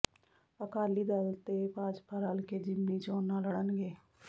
ਅਕਾਲੀ ਦਲ ਤੇ ਭਾਜਪਾ ਰਲ ਕੇ ਜ਼ਿਮਨੀ ਚੋਣਾਂ ਲੜਨਗੇ